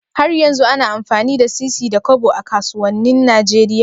Har yanzu ana amfani da sisi da Kobo a kasuwanin Nigeria?